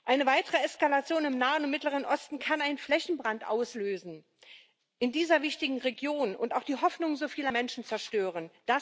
Eine weitere Eskalation im Nahen und Mittleren Osten kann in dieser wichtigen Region einen Flächenbrand auslösen und auch die Hoffnung so vieler Menschen zerstören.